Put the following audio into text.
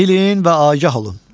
Bilin və agah olun.